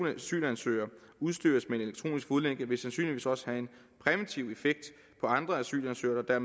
asylansøgere udstyres med elektronisk fodlænke vil sandsynligvis også have en præventiv effekt på andre asylansøgere der